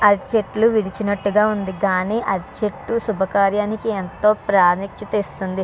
అరటి చేట్టు విరిచినట్టుగ వుంది కానీ అరటి చెట్టు శుభకార్యానికి ఏందో ప్రాముఖ్యత ఇస్తుంది.